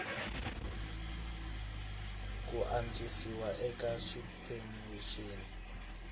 ku antswisiwa eka swiphemu swin